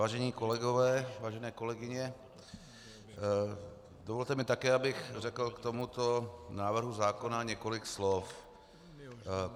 Vážení kolegové, vážené kolegyně, dovolte mi také, abych řekl k tomuto návrhu zákona několik slov.